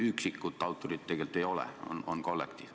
Üksikut autorit tegelikult ei ole, on kollektiiv.